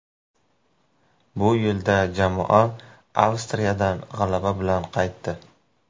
Bu yo‘lda jamoa Avstriyadan g‘alaba bilan qaytdi.